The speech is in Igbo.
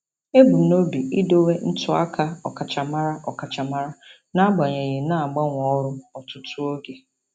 Ebumnobi m idowe ntụaka ọkachamara ọkachamara n'agbanyeghị na-agbanwe ọrụ ọtụtụ oge.